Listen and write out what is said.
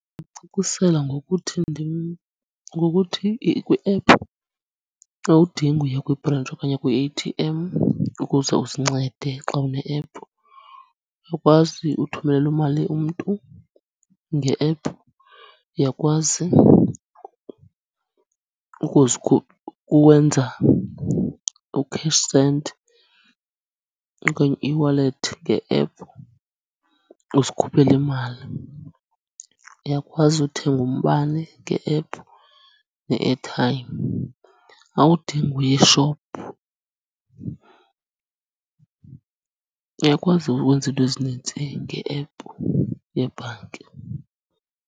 Ndingamcacisela ngokuthi ngokuthi kwi-app awudingi uya kwibhrentshi okanye kwi-A_T_M ukuze uzincede. Xa une-app uyakwazi uthumelela imali umntu nge-app, uyakwazi uwenza u-Cash Send okanye u-eWallet nge-app uzikhuphele imali. Uyakwazi uthenga umbane nge-app ne-airtime, awudingi uye eshophu, uyakwazi ukwenza iinto ezinintsi nge-app yebhanki.